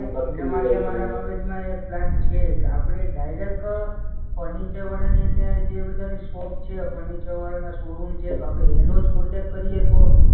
એના માટે મારા મગજમાં એક પ્લાન છે કે આપણે ડાયરેક્ટ ફર્નિચરવાળાની ને જે બધાની શોપ છે, ફર્નિચરવાળાના શોરૂમ છે તો આપણે એનો જ કોકોન્ટેક્ટ કરીએ તો?